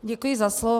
Děkuji za slovo.